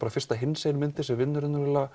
fyrsta hinsegin myndin sem vinnur